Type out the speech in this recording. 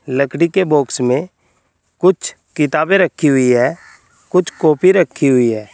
लकड़ी के बॉक्स में कुछ किताबें रखी हुई हैं। कुछ कॉपी रखी हुई है।